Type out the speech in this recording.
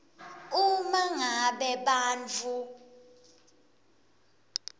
uma ngabe bantfu